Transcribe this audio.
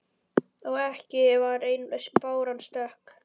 Og ekki var ein báran stök.